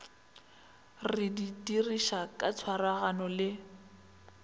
re dirišane ka tshwaragano le